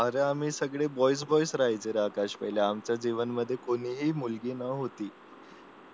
अरे आम्ही सगळे बॉईज बॉईज राहायचं पहिले सगळे आमच्या जीवना मध्ये कोणीही मुलगी नव्हती